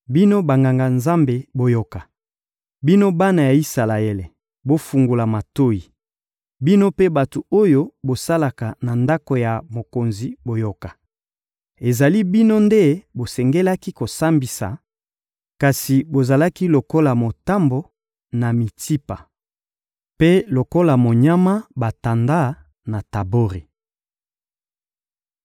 Bino Banganga-Nzambe, boyoka! Bino bana ya Isalaele, bofungola matoyi! Bino mpe bato oyo bosalaka na ndako ya mokonzi, boyoka! Ezali bino nde bosengelaki kosambisa, kasi bozalaki lokola motambo, na Mitsipa, mpe lokola monyama batanda, na Tabori.